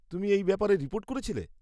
তুমি এই ব্যাপারে রিপোর্ট করেছিলে?